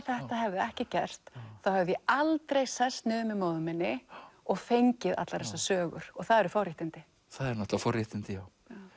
þetta hefði ekki gerst þá hefði ég aldrei sest niður með móður minni og fengið allar þessar sögur og það eru forréttindi það eru forréttindi já